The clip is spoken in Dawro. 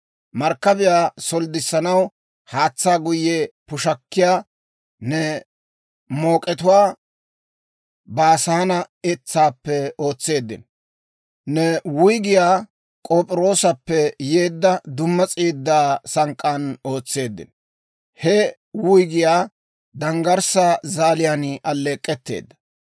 Markkabiyaa solddissanaw haatsaa guyye pushakkiyaa ne mook'etuwaa Baasaane etsaappe ootseeddino; ne wuyggiyaa K'op'iroosappe yeedda dumma s'iidaa sank'k'aan ootseeddino; he wuyggiyaa danggarssaa zaaliyaan alleek'k'etteedda.